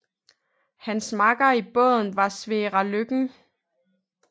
Hans makker i båden var Sverre Løken